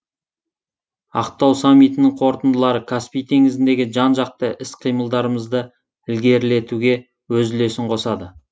ақтау саммитінің қорытындылары каспий теңізіндегі жан жақты іс қимылдарымызды ілгерілетуге өз үлесін қосады